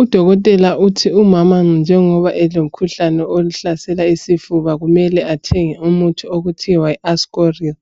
Udokotela uthi umama njengoba elomkhuhlane ohlasela isifuba kumele athenge umuthi okuthiwa yi Ascoril.